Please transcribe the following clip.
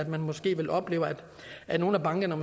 man måske vil opleve at nogle af bankerne